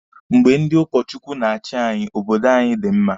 Mgbe ndị ụkọ Chukwu na-achi anyị, obodo anyi di mma.